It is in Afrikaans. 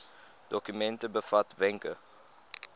dokument bevat wenke